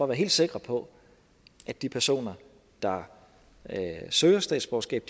være helt sikre på at de personer der søger statsborgerskab